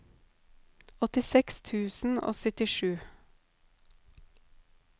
åttiseks tusen og syttisju